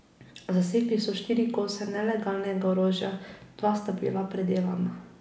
Zasegli so štiri kose nelegalnega orožja, dva sta bila predelana.